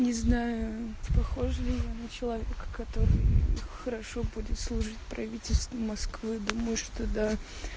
не знаю похожа ли я на человека который хорошо будет служить правительству москвы думаю что да